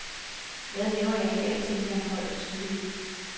Hvad laver jeg her, tænkte han højt og tydeligt.